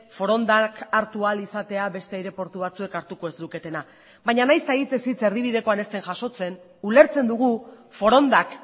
forondak hartu ahal izatea beste aireportu batzuek hartuko ez luketena baina nahiz eta hitzez hitz erdibidekoan ez den jasotzen ulertzen dugu forondak